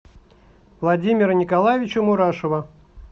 владимира николаевича мурашова